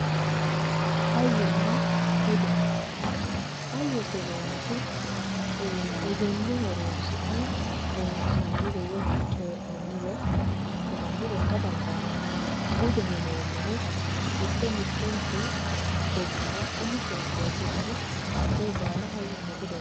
Hayyonna bude ,hayyote yineemmoti egenno horonsi'ne loonsannire woyyi coyi'nannire assinannire ikka dandaano, budeho yineemmohu mite mitete gobbara umise budi no hakkoe baalla hayyonna bude yinanni.